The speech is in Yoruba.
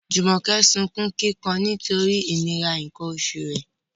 Jumoke sunkún kíkan nítorí ìnira nǹkan oṣù rẹ̀